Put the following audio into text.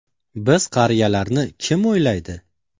– Biz qariyalarni kim o‘ylaydi?